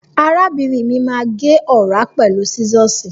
Arábìnrin mi má agé ọ̀rá pẹ̀lú sísọ́ọ̀sì.